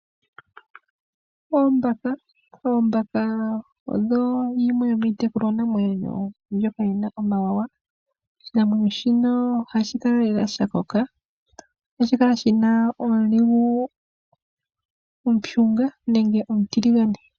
Oombaka odho dhimwe dhomiitekulwa namwenyo mbyoka yi na omawanawa. Oshinamwenyo shika ohashi kala lela shakoka, nohashi kala shina omulungu omushunga, nenge omutiligane.